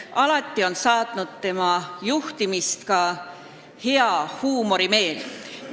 Alati on tema juhtimist saatnud ka hea huumorimeel.